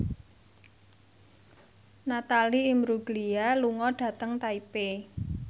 Natalie Imbruglia lunga dhateng Taipei